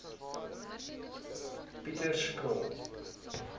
pieterskraal